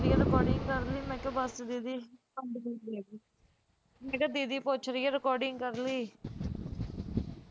recording ਕਰ ਲਈ ਮੈਂ ਕਿਹਾ ਦੀਦੀ ਬਸ ਦੀਦੀ ਮੈਂ ਕਿਹਾ ਦੀਦੀ ਪੁੱਛ ਰਹੀ ਹੈ recording ਕਰ ਲਈ